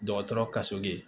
Dɔgɔtɔrɔ ka so bi